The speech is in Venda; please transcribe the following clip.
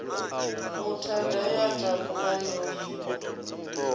muthada ya takuwa yo livha